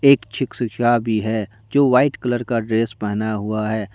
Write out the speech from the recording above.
एक क्षीशिका भी है जो वाइट कलर का ड्रेस पहना हुआ है।